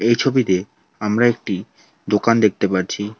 এই ছবিতে আমরা একটি দোকান দেখতে পাচ্ছি।